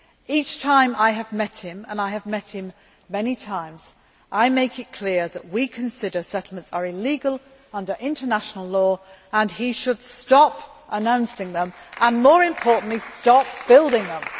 Each time I have met him and I have met him many times I have made it clear that we consider settlements to be illegal under international law, and that he should stop announcing them and, more importantly, stop building them.